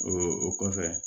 O o kɔfɛ